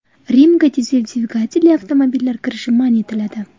Rimga dizel dvigatelli avtomobillar kirishi man etiladi.